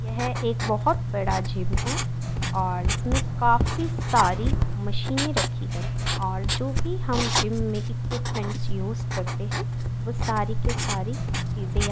एक बहुत बड़ा जिम है और इसमें काफी सारी मशीने रखी गई हैं और जो भी हम जिम में इक्विपमेंट यूज करते हैं। सारी की सारी --